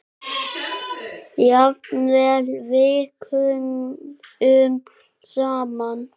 Jafnvel vikunum saman.